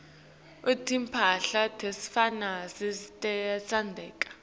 timphahla tesifazane tiyatsengeka